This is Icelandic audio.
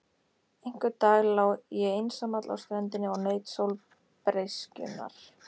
Einhvern dag lá ég einsamall á ströndinni og naut sólbreyskjunnar.